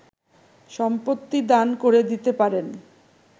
সম্পত্তি দান করে দিতে পারেন